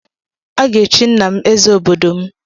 A ga-echi nna m eze obodo m.